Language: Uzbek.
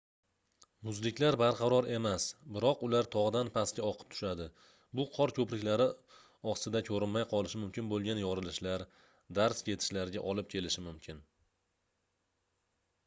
muzliklar barqaror emas biroq ular togʻdan pastga oqib tushadi bu qor koʻpriklari osida koʻrinmay qolishi mumkin boʻlgan yorilishlar darz ketishlarga olib kelishi mumkin